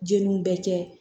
Jeliw bɛ kɛ